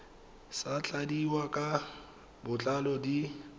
sa tladiwang ka botlalo di